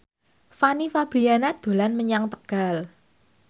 Fanny Fabriana dolan menyang Tegal